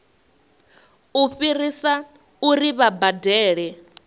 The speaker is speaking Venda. u fhirisa uri vha badele